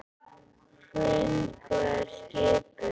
Hrund: Hvað er skipið langt?